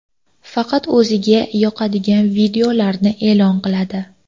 Faqat o‘ziga yoqadigan videolarni e’lon qiladi.